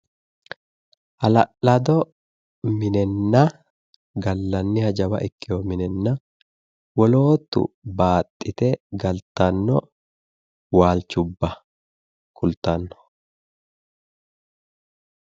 Hala'laddo minenna gallanniha jawa ikkewo minenna woloottu baaxxite galtanno waalchubba kultanno.